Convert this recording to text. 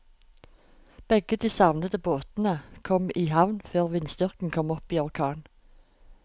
Begge de savnede båtene kom i havn før vindstyrken kom opp i orkan.